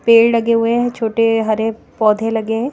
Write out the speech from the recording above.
पेड़ लगे हुए हैं छोटे हरे पौधे लगे हैं।